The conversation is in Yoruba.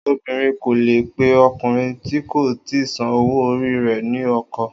Obìnrin kò leè pe ọkùnrin tí kò ti san owó orí rẹ ni ọkọ